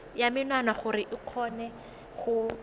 ya menwana gore o kgone